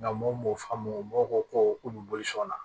Nka mɔw m'a faamu mɔgɔw ko ko k'u bɛ boli sɔn na